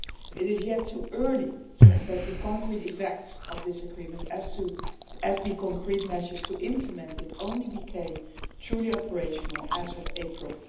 It is still too early to assess the concrete effects of this agreement, as the concrete measures to implement it only became truly operational as of 4 April.